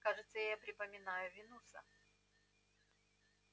кажется я припоминаю винуса